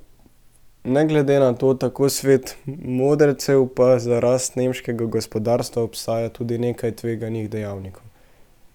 Ne glede na to, tako svet modrecev, pa za rast nemškega gospodarstva obstaja tudi nekaj tveganih dejavnikov.